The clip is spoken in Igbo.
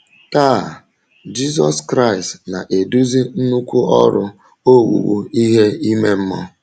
Taa,, Jizọs Kraịst na - eduzi nnukwu ọrụ owuwu ihe ime mmụọ.